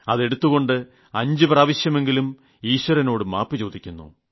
അതെടുത്തുകൊണ്ട് 5 പ്രാവശ്യമെങ്കിലും ഈശ്വരനോട് മാപ്പു ചോദിക്കുന്നു